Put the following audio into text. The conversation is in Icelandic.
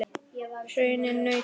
Hraðinn nautn.